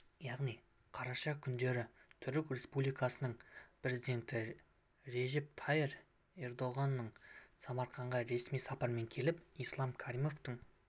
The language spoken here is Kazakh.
яғни қараша күндері түрік республикасының президенті режеп тайип ердоғанның самарқанға ресми сапармен келіп ислам каримовтің